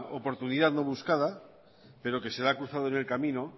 oportunidad no buscada pero que se le ha cruzado en el camino